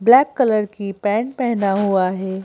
Black colour की pant पहना हुआ है।